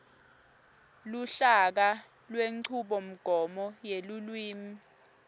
luhlaka lwenchubomgomo yelulwimi